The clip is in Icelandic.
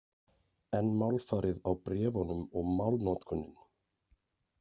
En málfarið á bréfunum og málnotkunin?